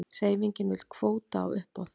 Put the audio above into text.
Hreyfingin vill kvóta á uppboð